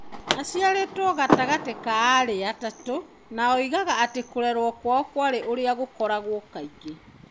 Aciarĩtwo gatagatĩ ka aarĩ atatũ, na oigaga atĩ kũrerwo kwao kwarĩ ũrĩa gũkoragwo kaingĩ.